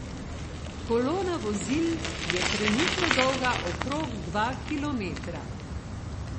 Kolona vozil je trenutno dolga okrog dva kilometra.